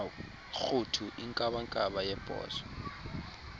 rhuthu inkabankaba yebhozo